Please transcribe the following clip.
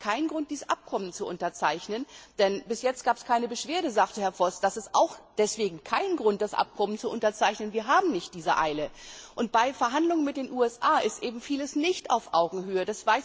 Das ist für mich kein Grund, dieses Abkommen zu unterzeichnen. Bis jetzt gab es keine Beschwerde, sagte Herr Voss. Das ist auch kein Grund, das Abkommen zu unterzeichnen. Wir haben nicht diese Eile. Bei Verhandlungen mit den USA geschieht eben vieles nicht auf Augenhöhe.